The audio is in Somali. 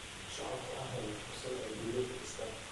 Shacabku waxay helaan fursad ay guri ku dhistaan.